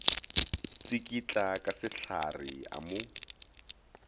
tsikitla ka sehlare a mo